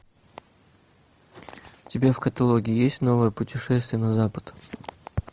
у тебя в каталоге есть новое путешествие на запад